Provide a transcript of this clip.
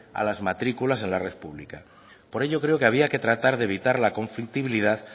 a las matrículas en la red pública por ello creo que había que tratar de evitar la conflictividad